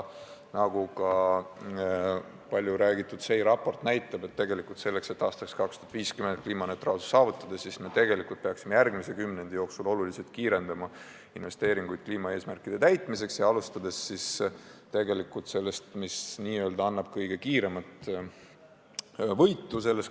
Nagu ka palju räägitud SEI raport näitab, tegelikult selleks, et aastaks 2050 kliimaneutraalsus saavutada, peaksime me järgmise kümnendi jooksul tuntavalt kiirendama investeeringuid kliimaeesmärkide täitmiseks ja alustama sellest, mis toob kõige kiirema võidu.